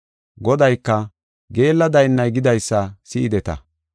Godayka, “Geella daynnay gidaysa si7ideta;